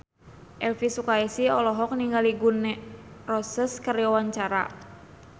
Elvy Sukaesih olohok ningali Gun N Roses keur diwawancara